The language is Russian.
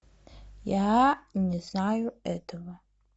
я не знаю этого